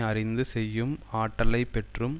அறிந்து செய்யும் ஆற்றலை பெற்றும்